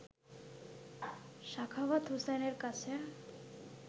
সাখাওয়াত হোসেনের কাছে